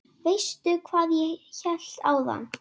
Veistu hvað ég hélt áðan?